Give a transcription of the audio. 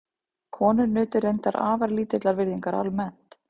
Konur nutu reyndar afar lítillar virðingar almennt.